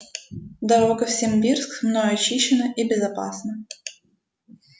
дорога в симбирск мною очищена и безопасна